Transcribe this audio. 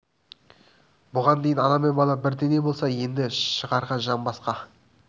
бұған дейін ана мен бала бір дене болса енді шығарға жан басқа-басқа